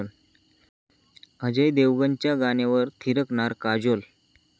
अजय देवगणच्या गाण्यावर थिरकणार काजोल